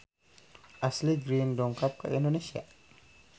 Ashley Greene dongkap ka Indonesia